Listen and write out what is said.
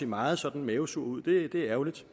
meget sådan mavesur ud det er ærgerligt